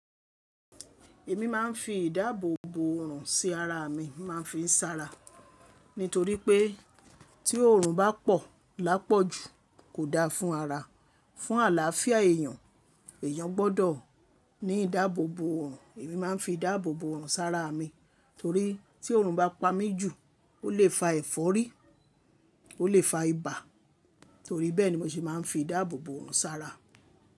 Èmi máa ń fi ìdáàbòbò òrùn sí ara mi, máa ń fi ń sára. Nítoripé tí òòrùn bá pọ̀ lápọ̀jù kò dáa fún ara, fún àlááfíà èèyàn. Èèyàn gbọ́dọ̀ ní ìdáàbòbò òrùn. Èmi máa ń fi ìdáàbòbò òrùn sára mi torí tí òrùn bá pa mí jù ó lè fa ẹ̀fọ́rí, ó lè fa ibà. Torí bẹ́ẹ̀ ni mo ṣe máa ń fi ìdáàbòbò òrùn sára.